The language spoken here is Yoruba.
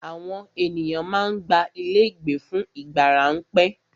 Àwọn ènìyàn má ń gba ilé ìgbé fún ìgbà ráńpẹ́.